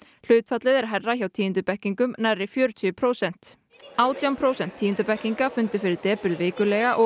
hlutfallið er hærra hjá tíundubekkingum nærri fjörutíu prósent átján prósent tíundubekkinga fundu fyrir depurð vikulega og